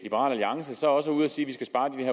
vil